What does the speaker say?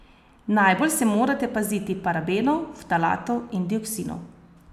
Najbolj se morate paziti parabenov, ftalatov in dioksinov.